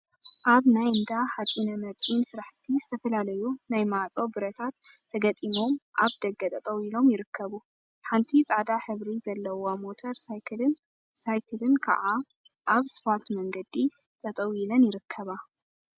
አብ ናይ እንዳ ሓፂነ መፂን ስራሕቲ ዝተፈላለዩ ናይ ማዕፆ ብረታት ተገጢሞም አብ ደገ ጠጠው ኢሎም ይርከቡ። ሓንቲ ፃዕዳ ሕብሪ ዘለዋ ሞተር ሳይክልን ሳይክልን ከዓ አብ ስፓልት መንገዲ ጠጠው ኢለን ይርከባ።